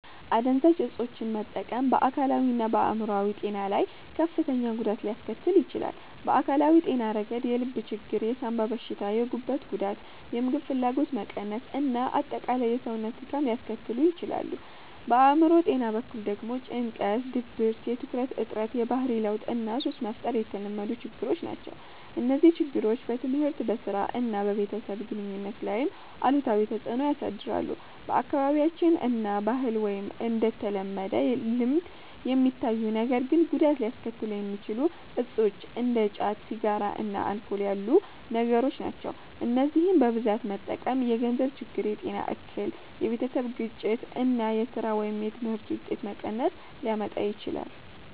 **"አደንዛዥ እፆችን መጠቀም በአካላዊና በአእምሮአዊ ጤና ላይ ከፍተኛ ጉዳት ሊያስከትል ይችላል። በአካላዊ ጤና ረገድ የልብ ችግር፣ የሳንባ በሽታ፣ የጉበት ጉዳት፣ የምግብ ፍላጎት መቀነስ እና አጠቃላይ የሰውነት ድካም ሊያስከትሉ ይችላሉ። በአእምሮ ጤና በኩል ደግሞ ጭንቀት፣ ድብርት፣ የትኩረት እጥረት፣ የባህሪ ለውጥ እና ሱስ መፍጠር የተለመዱ ችግሮች ናቸው። እነዚህ ችግሮች በትምህርት፣ በሥራ እና በቤተሰብ ግንኙነት ላይም አሉታዊ ተጽዕኖ ያሳድራሉ። በአካባቢያችን እንደ ባህል ወይም እንደ ተለመደ ልምድ የሚታዩ ነገር ግን ጉዳት ሊያስከትሉ የሚችሉ እፆች እንደ ጫት፣ ሲጋራ እና አልኮል ያሉ ነገሮች ናቸው። እነዚህን በብዛት መጠቀም የገንዘብ ችግር፣ የጤና እክል፣ የቤተሰብ ግጭት እና የሥራ ወይም የትምህርት ውጤት መቀነስ ሊያመጣ ይችላል።